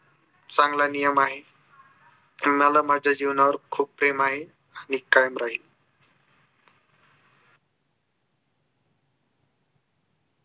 चांगला नियम आहे. मला माझ्या जीवनावर खूप प्रेम आहे. आणि कायम राहील.